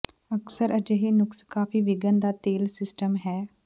ਅਕਸਰ ਅਜਿਹੇ ਨੁਕਸ ਕਾਫ਼ੀ ਵਿਘਨ ਦਾ ਤੇਲ ਸਿਸਟਮ ਹੈ